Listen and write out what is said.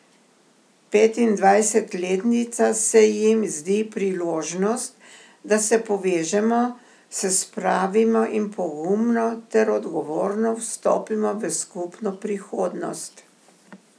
Petindvajsetletnica se jim zdi priložnost, da se povežemo, se spravimo in pogumno ter odgovorno vstopimo v skupno prihodnost.